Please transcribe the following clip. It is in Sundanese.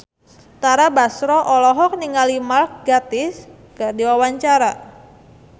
Tara Basro olohok ningali Mark Gatiss keur diwawancara